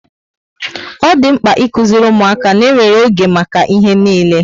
Ọ dị mkpa ịkuziri ụmụaka ná enwere oge maka ihe niile